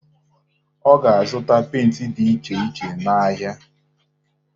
Ọ ga-azụta penti dị iche iche n'ahịa.